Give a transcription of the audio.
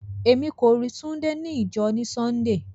Ẹmi kò rí Túndé ní ìjọ̀ ní Súndéé.